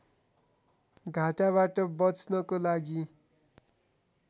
घाटाबाट बच्नको लागि